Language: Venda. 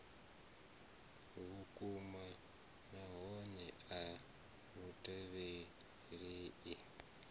vhukuma nahone a lu tevhelelei